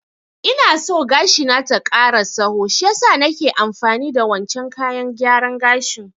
Ina so gashi na ta ƙara tsaho shiyasa naka amfani da wancen kayan gyaran gashin